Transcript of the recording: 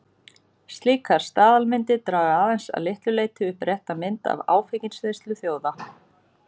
Slíkar staðalmyndir draga aðeins að litlu leyti upp rétta mynd af áfengisneyslu þjóða.